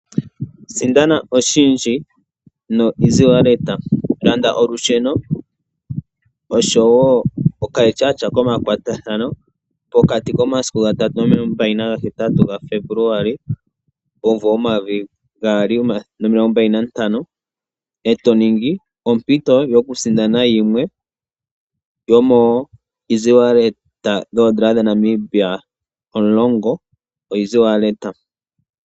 Sindana oshindji nomukalo gokutuma oshimaliwa kongodhi goBank Windhoek. Landa olusheno nosho wo ethimbo lyokongodhi, pokati komasiku 03-28 Febuluali 2025, e to mono ompito yokusindana oshimaliwa toshi tuminwa kongodhi shomoompito dhi li omulongo.